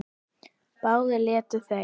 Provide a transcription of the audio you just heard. Báðir létu þeir